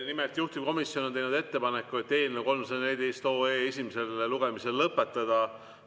Nimelt, juhtivkomisjon on teinud ettepaneku eelnõu 314 esimene lugemine lõpetada.